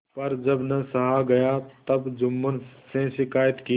पर जब न सहा गया तब जुम्मन से शिकायत की